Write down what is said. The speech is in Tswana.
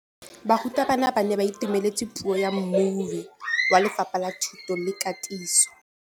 Barutabana ba ne ba itumeletse puô ya mmui wa Lefapha la Thuto le Katiso.